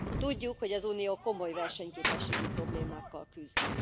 Tudjuk, hogy az Unió komoly versenyképességi problémákkal küzd.